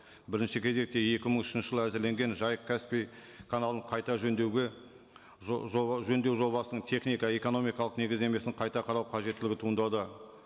бірінші кезекте екі мың үшінші жылы әзірленген жайық каспий каналын қайта жөндеуге жөндеу жобасының техника экономикалық негіздемесін қайта қарау қажеттілігі туындауда